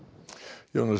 Jónas